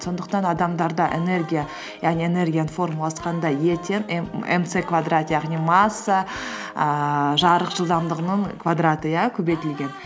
сондықтан адамдарда энергия яғни энергияның формуласы қандай е тең м ц квадрат яғни масса ііі жарық жылдамдығының квадраты иә көбейтілген